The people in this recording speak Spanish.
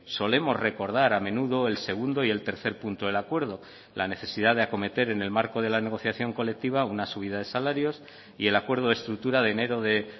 solemos recordar a menudo el segundo y el tercer punto del acuerdo la necesidad de acometer en el marco de la negociación colectiva una subida de salarios y el acuerdo de estructura de enero de